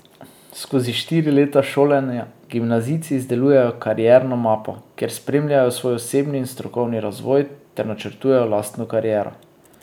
Skozi štiri leta šolanja gimnazijci izdelujejo Karierno mapo, kjer spremljajo svoj osebni in strokovni razvoj ter načrtujejo lastno kariero.